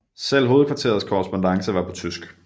Selv hovedkvarterets korrespondance var på tysk